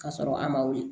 Ka sɔrɔ a ma wuli